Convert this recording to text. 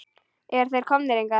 Eru þeir komnir hingað?